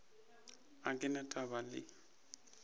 ga ke na taba le